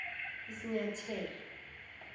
isinyathelo